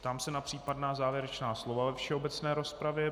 Ptám se na případná závěrečná slova ve všeobecné rozpravě.